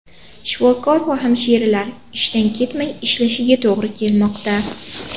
Shifokor va hamshiralar ishdan ketmay ishlashiga to‘g‘ri kelmoqda.